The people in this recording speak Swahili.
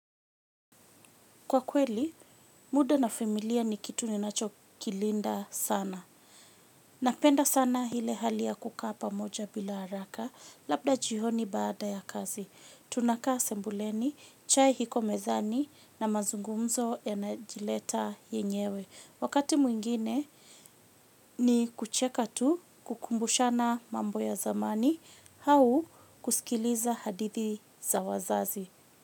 Kwa kweli, muda na familia ni kitu ni nacho kilinda sana. Napenda sana ile hali ya kukaa pamoja bila haraka, labda jioni baada ya kazi tunakaa sebuleni, chai iko mezani na mazungumzo yanajileta yenyewe. Wakati mwingine ni kucheka tu kukumbushana mambo ya zamani, au kusikiliza hadithi za wazazi.